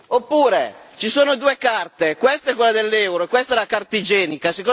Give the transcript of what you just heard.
Oppure, ci sono due carte questa è quella dell'euro e questa è la carta igienica.